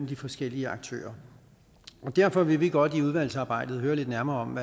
de forskellige aktører derfor vil vi godt i udvalgsarbejdet høre lidt nærmere om